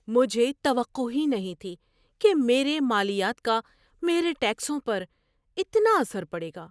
مجھے توقع ہی نہیں تھی کہ میرے مالیات کا میرے ٹیکسوں پر اتنا اثر پڑے گا۔